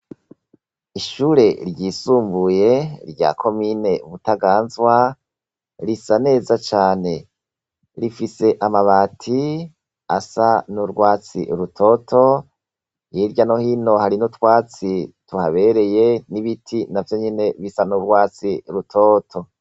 Ishure ryisumbuye rya komine Butaganzwa risa neza cane rifise amabati asa n'urwatsi rutoto, hirya no hino hari n'utwatsi tuhabereye n'ibiti na vyo nyene bisa n'urwatsi rutoto.